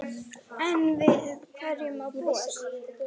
Enn við hverju má búast?